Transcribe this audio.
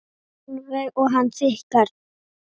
Sólveig: Og hann tikkar?